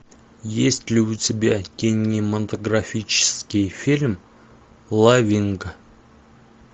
есть ли у тебя кинематографический фильм лавинг